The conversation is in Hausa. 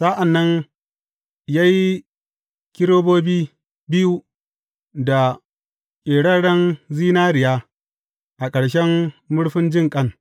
Sa’an nan ya yi kerubobi biyu da ƙeraren zinariya a ƙarshen murfin jinƙan.